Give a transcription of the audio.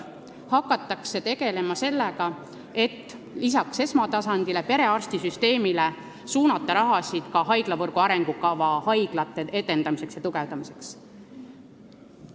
See tähendab, et lisaks esmatasandile, perearstisüsteemile, suunatakse raha ka haiglavõrgu arengukava haiglate edendamiseks ja tugevdamiseks.